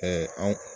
anw